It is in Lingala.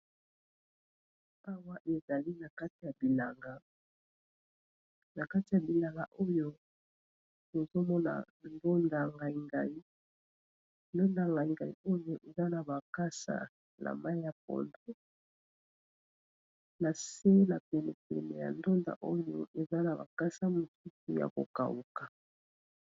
awa ezali na kati ya bilanga oyo ezomona ndonda ngaingai oyo ezana bakasa na mai ya podo na se na penepene ya ndonda oyo ezana bakasa mosuku ya kokauka